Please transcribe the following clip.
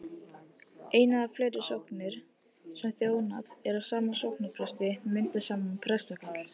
ein eða fleiri sóknir sem þjónað er af sama sóknarpresti mynda saman prestakall